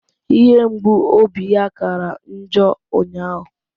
Ihe mgbu obi ya kara njọ ụnyahụ